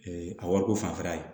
a wariko fanfɛla ye